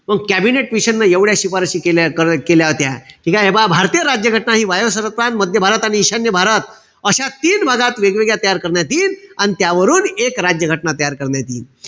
मंग कॅबिनेट मिशनन एवढ्या शिफारसी केल्या होत्या. ठीकेय? हे पहा भारतीय राज्य घटना हि वायव्य सरहद प्रांत, मध्य भारत आणि ईशान्य भारत अशा तीन भागात वेगवेगळ्या तयार करण्यात यिन. अन त्यावरून एक राज्य घटना तयार करण्यात यिन.